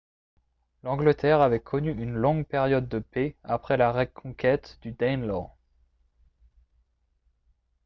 l'angleterre avait connu une longue période de paix après la reconquête du danelaw